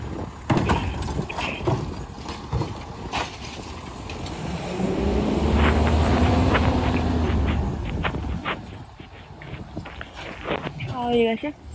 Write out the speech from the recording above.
খাওয়া হয়ে গেছে?